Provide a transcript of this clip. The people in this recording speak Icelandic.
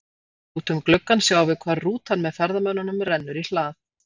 Út um gluggann sjáum við hvar rútan með ferðamönnunum rennur í hlað.